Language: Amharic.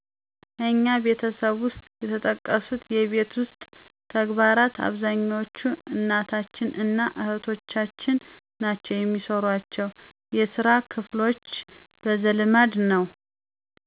እኛ ቤተሰብ ውሰጥ የተጠቀሱት የቤት ውስጥ ተግባራት አብዛኛዎቹን እናታችን እና እህቶቻችን ናቸው የሚሰሯቸው። የስራ ክፍሎች በዘልማድ ነዉ።